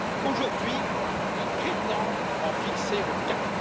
Aujourd'hui, il prétend en fixer le cap!